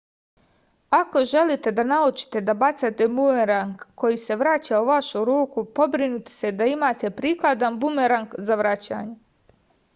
ako želite da naučite da bacate bumerang koji se vraća u vašu ruku pobrinite se da imate prikladan bumerang za vraćanje